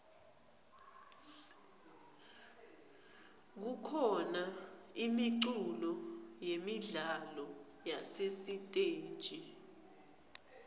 kukhona imiculo yemidlalo yasesiteji